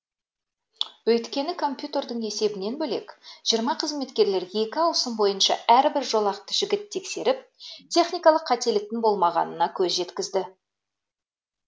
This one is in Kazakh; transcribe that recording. өйткені компьютердің есебінен бөлек жиырма қызметкер екі ауысым бойынша әрбір жолақты жіті тексеріп техникалық қателіктің болмағанына көз жеткізді